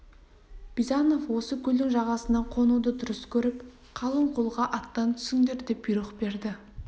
бизанов осы көлдің жағасына қонуды дұрыс көріп қалың қолға аттан түсіңдер деп бұйрық берді